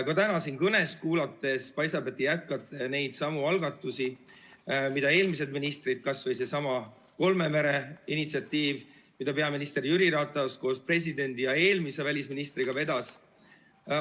Ka täna siin teie kõnet kuulates paistab, et te jätkate neidsamu algatusi, mida eelmised ministrid tegid, kas või seesama kolme mere initsiatiiv, mida peaminister Jüri Ratas koos presidendi ja eelmise välisministriga vedas.